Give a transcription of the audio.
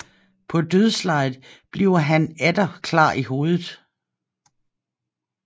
På dødslejet bliver han atter klar i hovedet